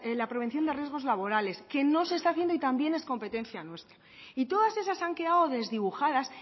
la prevención de riesgos laborales que no se está haciendo y también es competencia nuestra y todas esas han quedado desdibujadas